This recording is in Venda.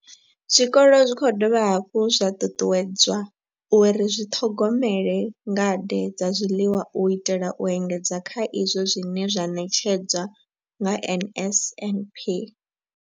Zwikolo zwi khou dovha hafhu zwa ṱuṱuwedzwa uri zwi zwiṱhogomele ngade dza zwiḽiwa u itela u engedza kha izwo zwine zwa ṋetshedzwa nga NSNP.